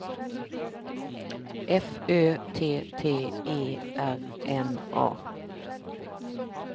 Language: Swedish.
F Ö T T E R N A